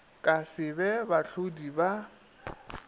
ka se be bahlodi ba